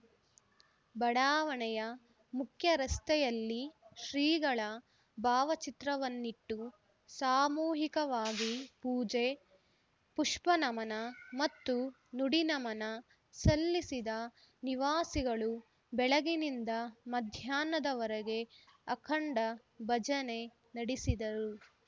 ಬಡಾವಣೆಯ ಮುಖ್ಯ ರಸ್ತೆಯಲ್ಲಿ ಶ್ರೀಗಳ ಭಾವಚಿತ್ರವನ್ನಿಟ್ಟು ಸಾಮೂಹಿಕವಾಗಿ ಪೂಜೆ ಪುಷ್ಪ ನಮನ ಮತ್ತು ನುಡಿ ನಮನ ಸಲ್ಲಿಸಿದ ನಿವಾಸಿಗಳು ಬೆಳಗಿನಿಂದ ಮಧ್ಯಾಹ್ನದವರೆಗೆ ಅಖಂಡ ಭಜನೆ ನಡಿಸಿದರು